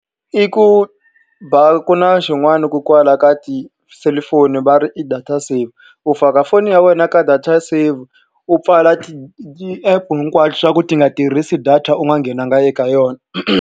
I ku ba ku na xin'wani kona kwala ka tiselufoni va ri i data save. U faka foni ya wena ka data save, u pfala ti-app hinkwaswo leswaku ti nga tirhisi data u nga nghenanga eka yona.